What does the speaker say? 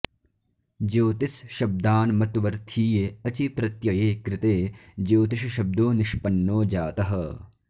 ज्योतिस् शब्दान्मत्वर्थीये अचि प्रत्यये कृते ज्योतिषशब्दो निष्पन्नो जातः